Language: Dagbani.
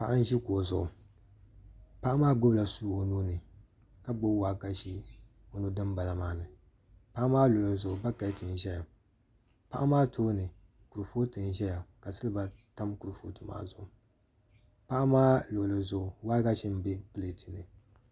Paɣa n ʒi kuɣu zuɣu paɣa maa gbunila suu o nuuni ka gbubi waagashe o nu dinbala maa ni paɣa maa luɣuli zuɣu bakɛt n ʒɛya paɣa maa tooni kuripooti n ʒɛya ka silba tam kuripooti maa zuɣu paɣa maa luɣuli zuɣu waagashe n bɛ pilɛt ni